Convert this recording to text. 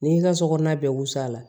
N'i y'i ka sokɔnɔna bɛɛ wusu a la